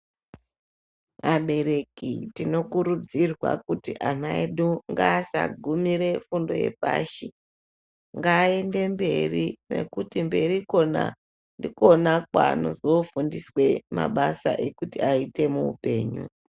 Abereki tino kurudzirwa kuti ana edu ngaasa gumire fundo ye pashi ngaa ende mberi nekuti mberi ikona ndikona kwanozo fundiswe mabasa ekuti ayite mu upenyu.